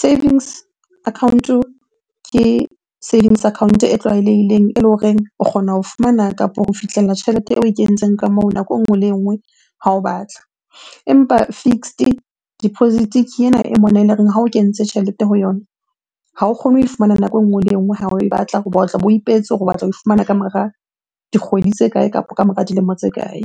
Savings account-o ke savings account e tlwaelehileng eleng horeng o kgona ho fumana kapo ho fihlella tjhelete eo oe kentseng ka moo nako e nngwe le e nngwe ha o batla. Empa fixed deposit-e ke ena e mona eloreng ha o kentse tjhelete ho yona ha o kgone ho e fumana nako e nngwe le e nngwe ha o batla hoba tlabo ipehetse hore o batla ho e fumana ka mora dikgwedi tse kae kapo ka mora dilemo tse kae?